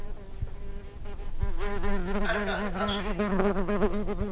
a ri karhi a swi